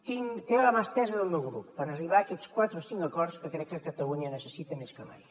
té la mà estesa del meu grup per arribar a aquests quatre o cinc acords que crec que catalunya necessita més que mai